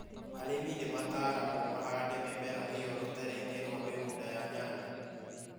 Arĩmi nĩ mataragũo mahande mĩmera ĩyo rũtere-ĩni rũa mĩgũnda ya nyanya.